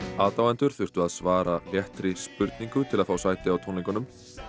aðdáendur þurftu að svara léttri spurningu til að fá sæti á tónleikunum